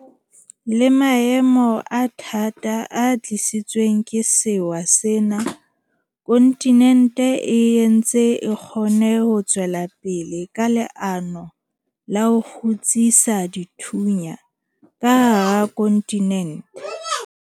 Le maemong a thata a tlisitsweng ke sewa sena, kontinente e ntse e kgonne ho tswela pele ka leano la ho 'kgutsisa dithunya' ka hara kontinente.